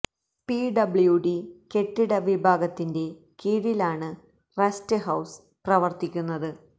P W D കെട്ടിട വിഭാഗത്തിന്റെ കീഴിലാണ് റസ്റ്റ് ഹൌസ് പ്രവര്ത്തിക്കുന്നത്